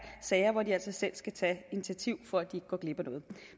sager hvor de altså selv skal tage initiativ for at de går glip af noget